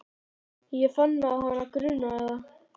Ég fann að hana grunaði það.